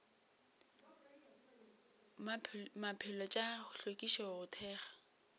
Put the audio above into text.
maphelo tša hlwekišo go thekga